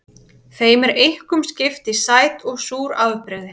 Þeim er einkum skipt í sæt og súr afbrigði.